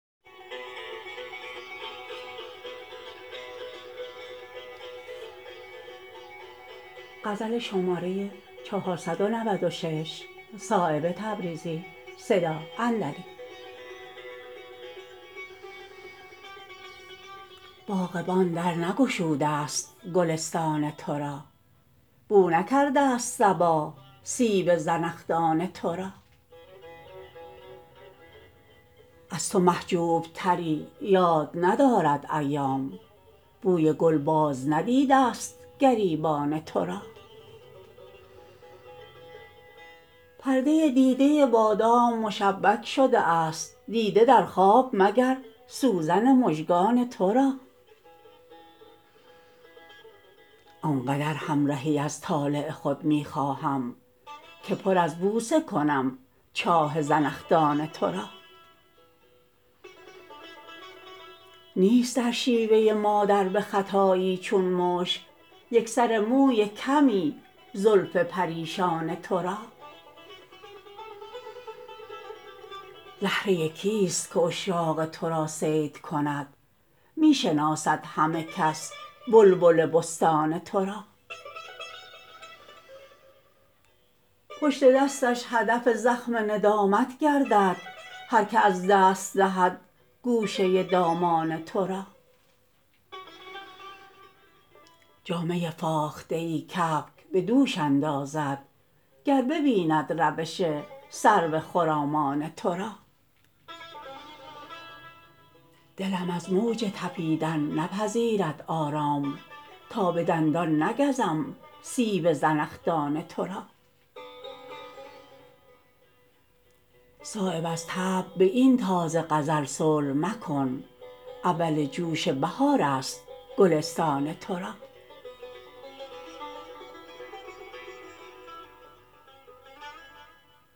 باغبان در نگشوده است گلستان ترا بو نکرده است صبا سیب زنخدان ترا از تو محجوب تری یاد ندارد ایام بوی گل باز ندیده است گریبان ترا پرده دیده بادام مشبک شده است دیده در خواب مگر سوزن مژگان ترا آنقدر همرهی از طالع خود می خواهم که پر از بوسه کنم چاه زنخدان ترا نیست در شیوه مادر بخطایی چون مشک یک سر موی کمی زلف پریشان ترا زهره کیست که عشاق ترا صید کند می شناسد همه کس بلبل بستان ترا پشت دستش هدف زخم ندامت گردد هر که از دست دهد گوشه دامان ترا جامه فاخته ای کبک به دوش اندازد گر ببیند روش سرو خرامان ترا دلم از موج تپیدن نپذیرد آرام تا به دندان نگزم سیب زنخدان ترا صایب از طبع به این تازه غزل صلح مکن اول جوش بهارست گلستان ترا